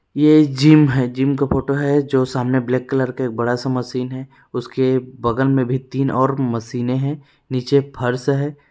ये जिम है। जिम का फोटो है। जो सामने ब्लेक कलर के बड़ा सा मसीन है। उसके बगल में भी तीन और मशीने है। निचे फ़र्स है।